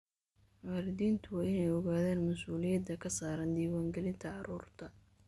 Waalidiintu waa inay ogaadaan mas'uuliyadda ka saaran diiwaangelinta carruurta.